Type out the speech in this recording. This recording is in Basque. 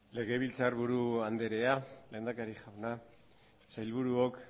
legebiltzarburu andrea lehendakari jauna sailburuok